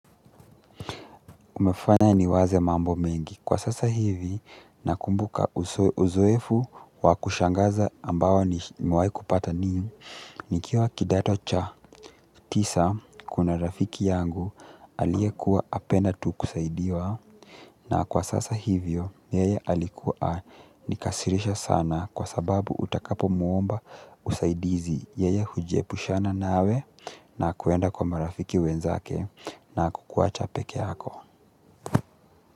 Umefanya niwaze mambo mengi. Kwa sasa hivi, nakumbuka uzoefu wa kushangaza ambao nimewai kupata mimi, nikiwa kidato cha. Tisa, kuna rafiki yangu aliekuwa apenda tu kusaidiwa na kwa sasa hivyo, yeye alikuwa anikasirisha sana kwa sababu utakapo muomba usaidizi yeye hujiepushana nawe na kwenda kwa marafiki wenzake na kukuwacha pekee yako.